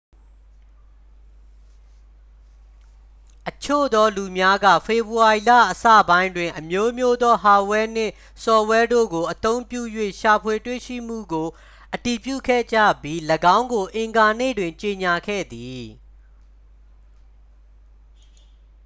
အချို့သော လူများက ဖေဖော်ဝေါ်ရီလအစပိုင်းတွင် အမျိုးမျိုးသော ဟာ့ဒ်ဝဲနှင့် ဆော့ဖ်ဝဲတို့ကို အသုံးပြု၍ ရှာဖွေတွေ့ရှိမှုကို အတည်ပြုခဲ့ကြပြီး ၎င်းကို အင်္ဂါနေ့တွင် ကြေညာခဲ့သည်